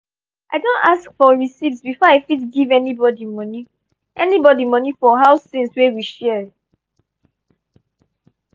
i don ask for receipts before i fit give anybody money anybody money for house things wey we share.